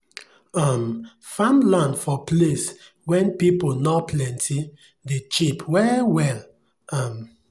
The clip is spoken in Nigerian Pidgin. um farmland for place wen pipu nor plenti dey cheap well well um